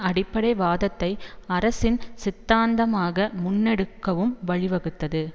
அடிப்படை வாதத்தை அரசின் சித்தாந்தமாக முன்னெடுக்கவும் வழிவகுத்தது